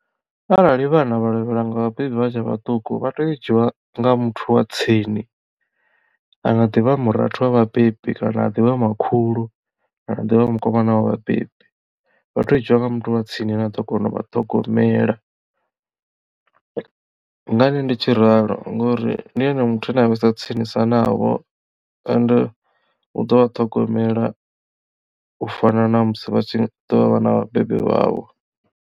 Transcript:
Arali vhana vha lovhelwa nga vhabebi vha tshe vhaṱuku vha tea u dzhiiwa nga muthu wa tsini anga ḓivha murathu wa vhabebi kana ha ḓivha makhulu kana divha mukomana wa vhabebi vha tea u dzhiiwa nga muthu wa tsini ane a ḓo kona u vha ṱhogomela ngani ndi tshi ralo ngori ndi ene muthu ane a vhesa tsinisa navho ende u ḓo vha ṱhogomela u fana na musi vha tshi ḓo vha vha na vhabebi vhavho.